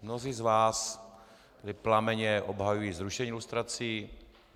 Mnozí z vás tady plamenně obhajují zrušení lustrací.